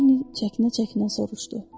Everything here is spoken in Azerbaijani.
Leni çəkinə-çəkinə soruşdu.